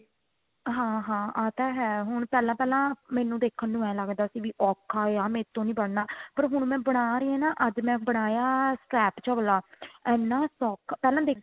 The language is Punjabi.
ਹਾਂ ਹਾਂ ਆ ਤਾ ਹੈ ਹੁਣ ਪਹਿਲਾਂ ਪਹਿਲਾਂ ਮੈਨੂੰ ਦੇਖਣ ਨੂੰ ਐਂ ਲੱਗਦਾ ਸੀ ਵੀ ਔਖਾ ਏ ਮੇਰੇ ਤੋਂ ਨਹੀਂ ਬਣਨਾ ਪਰ ਹੁਣ ਮੈਂ ਬਣਾ ਰਹੀ ਆ ਨਾ ਅੱਜ ਮੈਂ ਬਣਾਇਆ krap ਚਬਲਾ ਐਨਾ ਸੋਖਾ ਪਹਿਲਾ ਦੇਖਣ